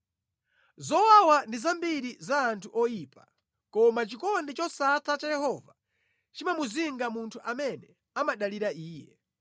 Zowawa ndi zambiri za anthu oyipa koma chikondi chosatha cha Yehova chimamuzinga munthu amene amadalira Iye.